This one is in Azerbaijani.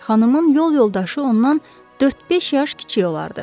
Xanımın yol yoldaşı ondan 4-5 yaş kiçik olardı.